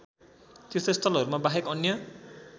तीर्थस्थलहरूमा बाहेक अन्य